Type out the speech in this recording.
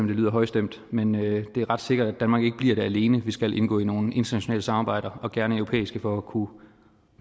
det lyder højstemt men det er ret sikkert at danmark ikke bliver det alene vi skal indgå i nogle internationale samarbejder og gerne europæiske for at kunne